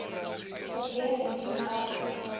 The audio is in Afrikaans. gebeur indien ek